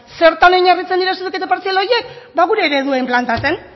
zertan oinarritzen dira zuzenketa partzialak horiek ba gure ereduen planteatzen